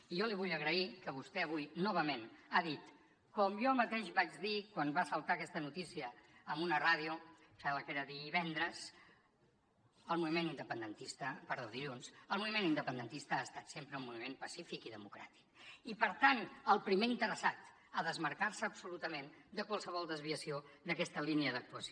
i jo li vull agrair que vostè avui novament hagi dit com jo mateix vaig dir quan va saltar aquesta notícia en una ràdio em sembla que era dilluns el moviment independentista ha estat sempre un moviment pacífic i democràtic i per tant el primer interessat a desmarcar se absolutament de qualsevol desviació d’aquesta línia d’actuació